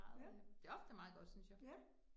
Ja. Ja